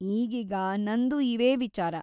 ಈಗೀಗ, ನಂದೂ ಇವೇ ವಿಚಾರ.